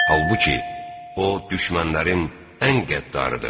Halbuki, o düşmənlərin ən qəddarıdır.